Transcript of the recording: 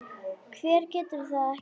Hver getur það ekki?